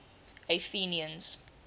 athenians